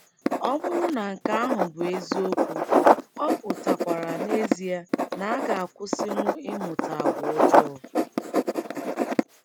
Ọ bụrụ na nke ahụ bụ eziokwu, ọ pụtakwara n’ezie na-agakwusinwu ịmụta àgwà ọjọọ!